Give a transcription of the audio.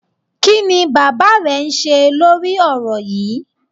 Kí ni bàbá rẹ ń ṣe lórí ọ̀rọ̀ yíì?